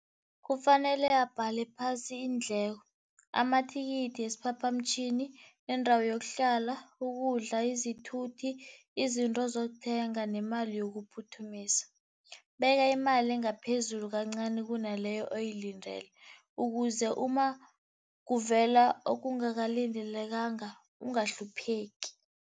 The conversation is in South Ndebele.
Kufanele abhale phasi iindleko, amathikithi wesiphaphamtjhini, indawo yokuhlala, ukudla, izithuthi, izinto azozikuthenga nemali yokuphuthumisa. Beka imali engaphezulu kancani kunaleyo oyilindele ukuze uma kuvela okungakalindelekanga ungahlupheki.